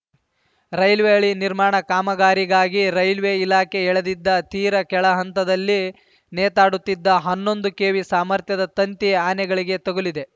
railway ಹಳಿ ನಿರ್ಮಾಣ ಕಾಮಗಾರಿಗಾಗಿ ರೈಲ್ವೆ ಇಲಾಖೆ ಎಳೆದಿದ್ದ ತೀರಾ ಕೆಳಹಂತದಲ್ಲಿ ನೇತಾಡುತ್ತಿದ್ದ ಹನ್ನೊಂದು ಕೆವಿ ಸಾಮರ್ಥ್ಯದ ತಂತಿ ಆನೆಗಳಿಗೆ ತಗುಲಿದೆ